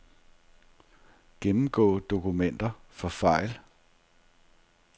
Gennemgå dokumenter for fejl.